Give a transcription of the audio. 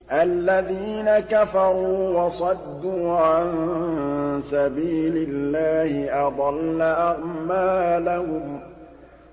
الَّذِينَ كَفَرُوا وَصَدُّوا عَن سَبِيلِ اللَّهِ أَضَلَّ أَعْمَالَهُمْ